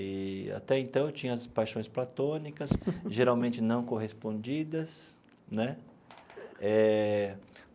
E, até então, eu tinha as paixões platônicas, geralmente não correspondidas né eh.